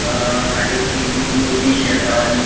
अ आणि ती मूर्ती शी आसा आणि --